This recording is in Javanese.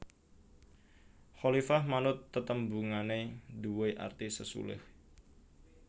Khalifah manut tetembungané nduwé arti sesulih